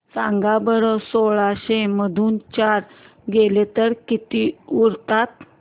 सांगा बरं सोळाशे मधून चार गेले तर किती उरतात